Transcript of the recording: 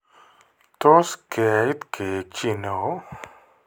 Tos keiit keek chi ne oo.